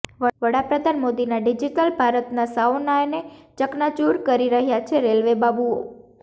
વડાપ્રધાન મોદીના ડિજિટલ ભારતના સાઓનાને ચકનાચૂર કરી રહ્યા છે રેલવે બાબુઓ